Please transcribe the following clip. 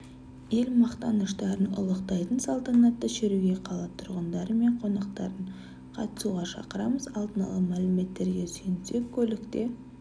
ел мақтаныштарын ұлықтайтын салтанатты шеруге қала тұрғындары мен қонақтарын қатысуға шақырамыз алдын ала мәліметтерге сүйенсек көлікте